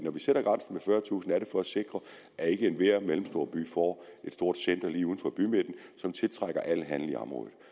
fyrretusind indbyggere er det for at sikre at ikke enhver mellemstor by får et stort center lige uden for bymidten som tiltrækker al handel i området